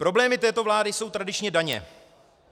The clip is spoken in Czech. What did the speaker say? Problémy této vlády jsou tradičně daně.